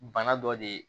Bana dɔ de ye